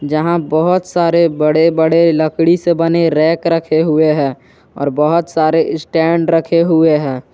जहां बहोत सारे बड़े-बड़े लकड़ी से बने रैक रखे हुए हैं और बहोत सारे स्टैंड रखे हुए हैं।